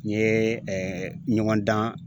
N ye ɲɔgɔn dan